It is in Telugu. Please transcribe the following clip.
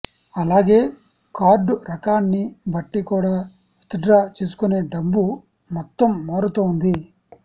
అలాగే కార్డు రకాన్ని బట్టి కూడా విత్డ్రా చేసుకునే డబ్బు మొత్తం మారుతోంది